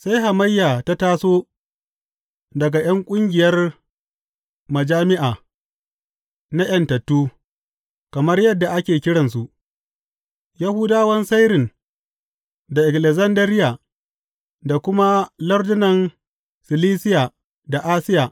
Sai hamayya ta taso daga ’yan ƙungiyar Majami’a na ’Yantattu kamar yadda ake kiransu, Yahudawan Sairin da Alekzandariya da kuma lardunan Silisiya da Asiya.